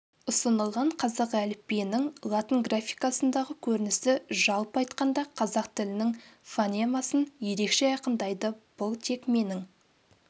ұсынылған қазақ әліпбиінің латын графикасындағы көрінісі жалпы айтқанда қазақ тілінің фонемасын ерекше айқындайды бұл тек менің